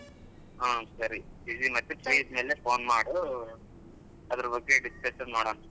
ಹಾ ಸರಿ busy free ಇದ್ದಾಗ phone ಮಾಡು ಅದ್ರ್ ಬಗ್ಗೆ discussion ಮಾಡೋಣ.